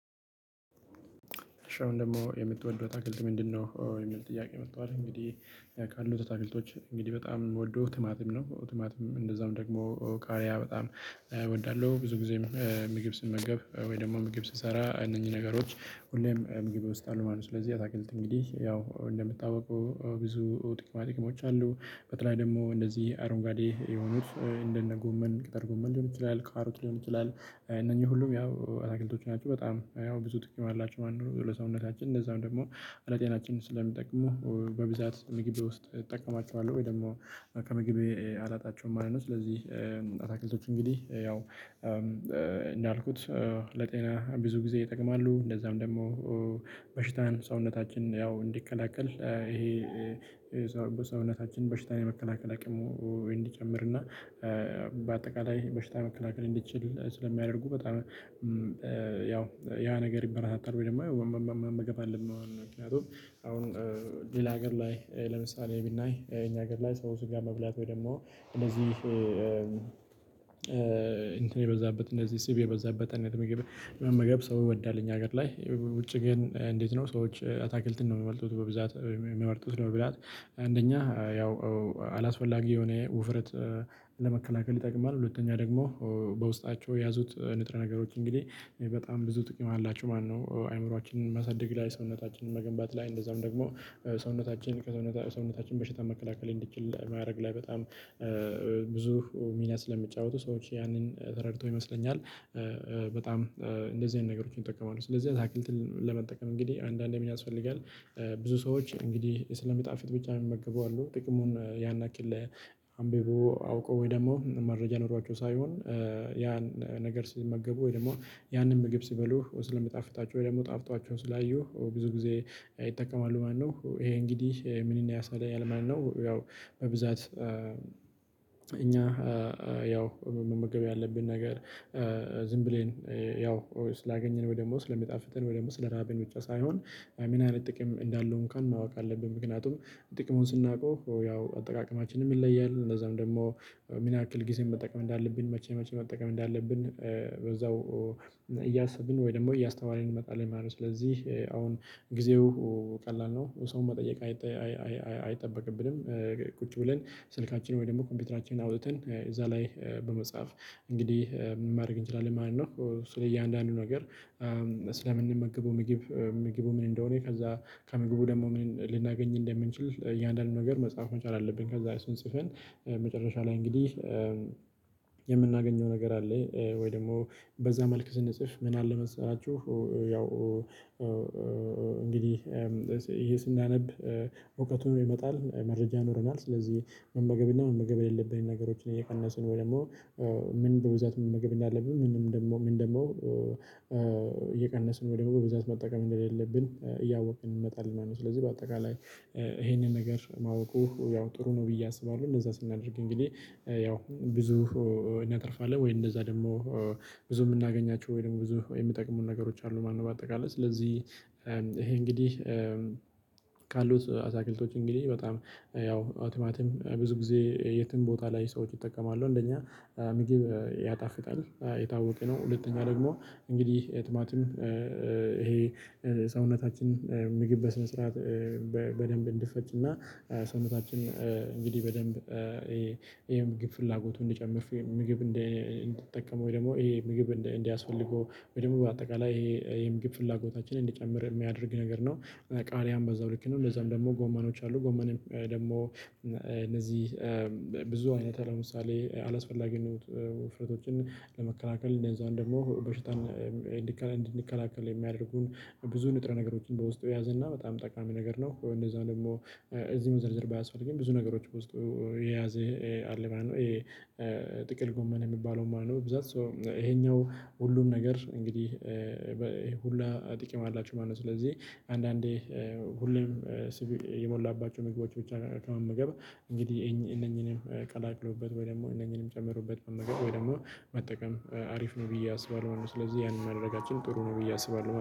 እሺ አሁን ደግሞ የምትወደው አተክልት ምንድነው? የሚል ጥያቄ መጥቷል እንግዲህ ካሉት አተክልቶች እንግዲህ በጣም የምወደው ቲማቲም ነው። ቲማቲም እንደዛውም ደግሞ ቃሪያ በጣም እወዳለሁ። ብዙ ጊዜም ምግብ ስመገብ ወይ ደግሞ ምግብ ስሰራ እነኚህ ነገሮች ሁሌም ምግቤ ውስጥ አሉ ማለት ነው። ስለዚህ አተክልት እንግዲህ ያው እንደሚታውቀው ብዙ ጥቅማ ጥቅሞች አሉ። በተለይ ደግሞ እንደዚህ አረንጓዴ የሆኑት እንደነ ጎመን ጥቅል ጎመን ሊሆን ይችላል ካሮት ሊሆን ይችላል። እነኚህ ሁሉም ያውም አተክልቶች ናቸው በጣም ያው ብዙ ጥቅም አላቸው ማለት ነው። ለሰውነታችን እንደዛም ደግሞ ለጤናችን ስለሚጠቅሙ በብዛት ምግብ ውስጥ እጠቀማቸዋለሁ ወይ ደግሞ ከምግቤ አላጣቸውም ማለት ነው። ስለዚህ አተክልቶች እንግዲህ ያው እንዳልኩት ለጤና ብዙ ጊዜ ይጠቅማሉ። እንደዛም ደግሞ በሽታን ሰውነታችን ያው እንዲከላከል ይሄ ሰውነታችን በሽታን የመከላከል አቅሙ እንዲጨምር እና በአጠቃላይ በሽታ መከላከል እንዲችል ስለሚያደርጉ በጣም ያው ያ ነገር ይበረታታል። ወይ ደግሞ መመገብ አለብን። ምክንያቱም አሁን ሌላ ሀገር ላይ ለምሳሌ ብናይ የኛ ሀገር ላይ ሰውች ጋር መብላት ወይ ደግሞ እንደዚህ እንትን የበዛበት እንደዚህ ስብ የበዛበት አንዳንድ ምግብ መመገብ ሰው ይወዳል እኛ ሀገር ላይ ውጭ ግን እንዴት ነው? ሰዎች አተክልትን ነው የሚመርጡት በብዛት የሚመርጡት በብዛት አንደኛ ያው አላስፈላጊ የሆነ ውፍረት ለመከላከል ይጠቅማል። ሁለተኛ ደግሞ በውስጣቸው የያዙት ንጥረ ነገሮች እንግዲህ በጣም ብዙ ጥቅም አላችሁ ማለት ነው። አይምሮአችንን ማሳደግ ላይ ሰውነታችንን መገንባት ላይ እንደዛውም ደግሞ ሰውነታችን ከሰውነታችን በሽታ መከላከል እንዲችል ማድረግ ላይ በጣም ብዙ ሚና ስለሚጫወቱ ሰዎች ያንን ተረድቶ ይመስለኛል። በጣም እንደዚህ አይነት ነገሮችን ይጠቀማሉ። ስለዚህ አተክልትን ለመጠቀም እንግዲህ አንዳንዴ ምን ያስፈልጋል? ብዙ ሰዎች እንግዲህ ስለሚጣፍጥ ብቻ የሚመገቡ አሉ። ጥቅሙን ያነ ያክል አንብቦ አውቆ ወይ ደግሞ መረጃ ኖሯቸው ሳይሆን ያን ነገር ሲመገቡ ወይ ደግሞ ያንን ምግብ ሲበሉህ ስለሚጣፍጣቸው ወይ ደግሞ ጣፍጧቸው ስላዩ ብዙ ጊዜ ይጠቀማሉ ማለት ነው። ይሄ እንግዲህ ምንን ያሳያል ማለት ነው። ያው በብዛት እኛ ያው መመገብ ያለብን ነገር ዝም ብለን ያው ስላገኘን ወይ ደግሞ ስለሚጣፍጥን ወይ ደግሞ ስለራበን ብቻ ሳይሆን ምን አይነት ጥቅም እንዳለው እንኳን ማወቅ አለብን። ምክንያቱም ጥቅሙን ስናውቀው ያው አጠቃቀማችንም ይለያል እነዛም ደግሞ ምን ያክል ጊዜም መጠቀም እንዳለብን መቼ መቼ መጠቀም እንዳለብን በዛው እያሰብን ወይ ደግሞ እያስተዋለን እንመጣለን ማለት ነው። ስለዚህ አሁን ጊዜው ቀላል ነው። ሰው መጠየቅ አይጠበቅብንም። ቁጭ ብለን ስልካችንን ወይ ደግሞ ኮምፒውተራችንን አውጥተን እዛ ላይ በመጻፍ እንግዲህ ማድረግ እንችላለን ማለት ነው። ስለ እያንዳንዱ ነገር ስለምንመግበው ምግብ ምግቡ ምን እንደሆነ ከዛ ከምግቡ ደግሞ ምን ልናገኝ እንደምንችል እያንዳንዱን ነገር መጻፍ መቻል አለብነ። ከዛ እሱን ጽፈን መጨረሻ ላይ እንግዲህ የምናገኘው ነገር አለ ወይ ደግሞ በዛ መልክ ስንጽፍ ምን አለ መሰላችሁ? ያው እንግዲህ ይሄ ስናነብ እውቀቱን ይመጣል መረጃ ይኖረናል። ስለዚህ መመገብ እና መመገብ የሌለብን ነገሮችን እየቀነስን ወይ ደግሞ ምን በብዛት መመገብ እንዳለብን ምንም ደግሞ ምን ደግሞ እየቀነስን ወይ ደግሞ በብዛት መጠቀም እንደሌለብን እያወቅን እንመጣለን ማለት ነው። ስለዚህ በአጠቃላይ ይሄንን ነገር ማወቁ ያው ጥሩ ነው ብዬ አስባለሁ። እንደዛ ስናደርግ እንግዲህ ያው ብዙ እናተርፋለን። ወይ እንደዛ ደግሞ ብዙ የምናገኛቸው ወይ ደግሞ ብዙ የሚጠቅሙን ነገሮች አሉ ማለት ነው። በአጠቃላይ ስለዚህ ይሄ እንግዲህ ካሉት አተክልቶች እንግዲህ በጣም ያው ቲማቲም ብዙ ጊዜ የትም ቦታ ላይ ሰዎች ይጠቀማሉ እንደኛ ምግብ ያጣፍጣል የታወቀ ነው። ሁለተኛ ደግሞ እንግዲህ ቲማቲም ይሄ ሰውነታችን ምግብ በስነ ስርዓት በደንብ እንዲፈጭና ሰውነታችን እንግዲህ በደንብ የምግብ ፍላጎቱን እንዲጨምር ምግብ እንዲጠቀም ወይ ደግሞ ይሄ ምግብ እንዲያስፈልገው ወይ ደግሞ በአጠቃላይ ይሄ የምግብ ፍላጎታችንን እንዲጨምር የሚያደርግ ነገር ነው። ቃሪያም በዛው ልክ ነው። ለዛም ደግሞ ጎመኖች አሉ ጎመንም ደግሞ እነዚህ ብዙ አይነት ለምሳሌ አላስፈላጊ ውፍረቶችን ለመከላከል እንደዛውም ደግሞ በሽታን እንዲከላከል እንድንከላከል የሚያደርጉን ብዙ ንጥረ ነገሮችን በውስጡ የያዘና በጣም ጠቃሚ ነገር ነው። እንደዛው ደግሞ እዚህ መዘርዘር ባያስፈልግም ብዙ ነገሮች ውስጥ የያዘ አለ ማለት ነው። ጥቅል ጎመን የሚባለው ማለት ነው። ብዛት ሶ ይሄኛው ሁሉም ነገር እንግዲህ በሁላ ጥቅም አላቸሁ ማለት ነው። ስለዚህ አንዳንዴ ሁሌም ስብ የሞላባቸው ምግቦች ብቻ ከመመገበ እንግዲህ እነኚህንም ቀላቅሎበት ወይ ደግሞ እነኚህንም ጨምሮበት መመገብ ወይ ደግሞ መጠቀም አሪፍ ነው ብዬ አስባለሁ ማለት ነው። ስለዚህ ያንን ማድረጋችን ጥሩ ነው ብዬ አስባለሁ